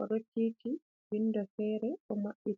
o ɗo titi windo fere bo maɓɓiti.